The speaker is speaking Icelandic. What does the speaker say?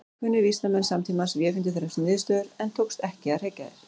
Kunnir vísindamenn samtímans vefengdu þessar niðurstöður en tókst ekki að hrekja þær.